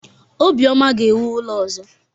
Obioma ga-ewu ụlọ ọzọ.